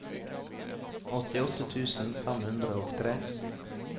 åttiåtte tusen fem hundre og tre